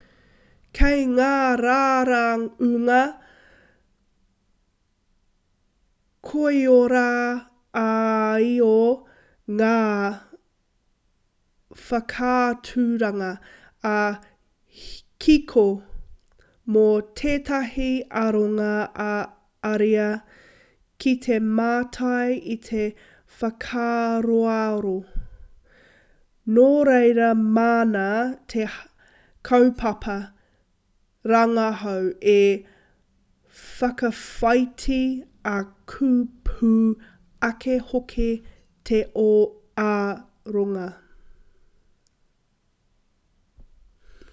kei ngā raraunga koiora-ā-io ngā whakaaturanga ā-kiko mō tētahi aronga ā-ariā ki te mātai i te whakaaroaro nā reira māna te kaupapa rangahau e whakawhāiti ā ka pū ake hoki te aronga